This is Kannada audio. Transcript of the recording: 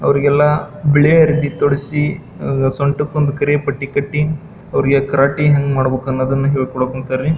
ಅವ್ರಿಗೆಲ್ಲ ಬಿಳಿ ಅರಬಿ ತೊಡಿಸಿ ಅಅ ಸೊಂಟಕ್ಕೊಂದು ಕರಿಯ ಪಟ್ಟಿ ಕಟ್ಟಿ ಅವ್ರಿಗೆಲ್ಲ ಕರಾಟೆ ಹೆಂಗ್ ಮಾಡಬೇಕನ್ನೋದನ್ನ ಹೇಳ್ಕೊಡಕ್ ಹೊಂಟರೀ.